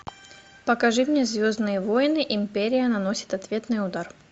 покажи мне звездные войны империя наносит ответный удар